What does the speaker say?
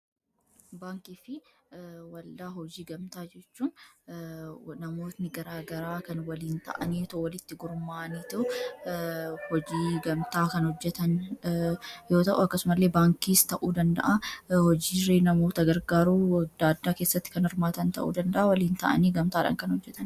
baankii fi walaa hojii gamtaa jechuun namootni garaagaraa kan waliin ta'anii walitti gormaanitu hojii gamtaa kan hojjetan yoo ta'uu akkasu malee baankiis ta'uu danda'a hojiiri namoota gargaaruu wagdaaddaa keessatti kan irmaatan ta'uu danda'a waliin ta'anii gamtaadha kan hojjetan